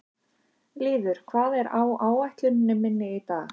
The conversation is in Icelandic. Lýður, hvað er á áætluninni minni í dag?